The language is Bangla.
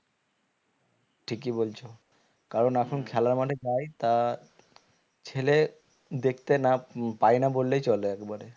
ঠিকই বলছো কারণ এখন খেলা মাঠে যাই তা ছেলে দেখতে না পাই না বললেই চলে একবারে